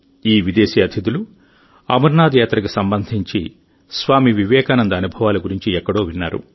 ఈ విదేశీ అతిథులు అమర్నాథ్ యాత్రకు సంబంధించి స్వామి వివేకానంద అనుభవాల గురించి ఎక్కడో విన్నారు